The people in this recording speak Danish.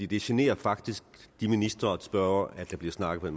det generer faktisk ministrene og spørgerne at der bliver snakket